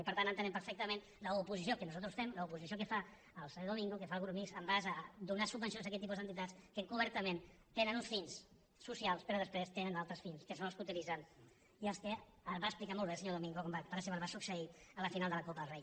i per tant entenem perfectament l’oposició que nosaltres fem l’oposició que fa el senyor domingo que fa el grup mixt amb relació a donar subvencions a aquest tipus d’entitats que encobertament tenen un fins socials però després tenen altres fins que són els que utilitzen i els que va explicar molt bé el senyor domingo com per exemple va succeir a la final de la copa del rei